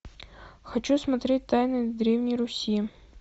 хочу смотреть тайны древней руси